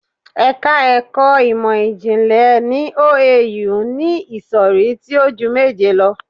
Ẹ̀ka ẹkọ Ìmọ̀-jìnlẹ̀ ní OAU ni ìsọ̀rí tí o ju méje lọ.